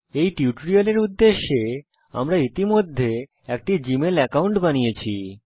এই টিউটোরিয়ালের উদ্দেশ্যে আমরা ইতিমধ্যে একটি জিমেইল একাউন্ট বানিয়েছি